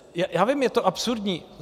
Já vím, je to absurdní.